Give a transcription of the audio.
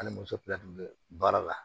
Ani muso fila tun bɛ baara la